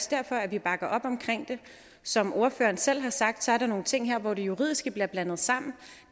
derfor at vi bakker op omkring det som ordføreren selv har sagt er der nogle ting her hvor det juridiske bliver blandet sammen